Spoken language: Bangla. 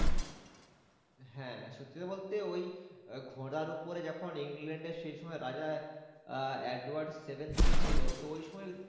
হ্যাঁ সত্যি কথা বলতে ওই ঘোড়ার ওপরে যখন ইংল্যান্ডের সেই সময়ের রাজা আহ এডওয়ার্ড seven ছিল তো ওই সময়